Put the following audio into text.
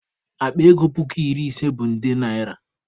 Akpa ego puku iri ise bụ nde naịra.